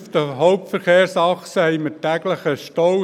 Auf den Hauptverkehrsachsen haben wir täglich Staus.